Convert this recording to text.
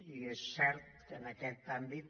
i és cert que en aquest àmbit